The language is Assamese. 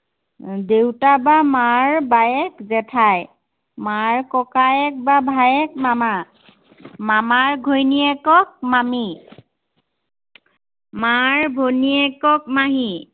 আহ দেউতাৰ বা মাৰ বায়েক জেঠাই। মাৰ ককায়েক বা ভায়েক মামা। মামাৰ ঘৈণীয়েকক মামী। মাৰ ভনীয়েকক মাহী।